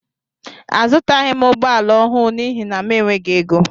Azutaghi m ụgbọala ọhụụ n'ihi na m enweghị égo.